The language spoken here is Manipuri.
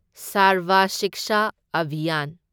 ꯁꯥꯔꯕ ꯁꯤꯛꯁꯥ ꯑꯚꯤꯌꯥꯟ